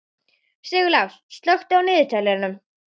Sigurlás, slökktu á niðurteljaranum.